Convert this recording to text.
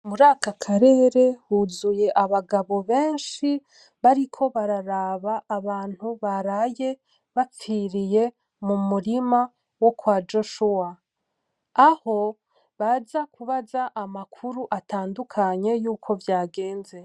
Muraka karere huzuye abagabo benshi bariko bararaba abantu baraye bapfiriye mu murima wo kwa Joshuwa aho baza kubaza amakuru atadukanye yuko vyageze.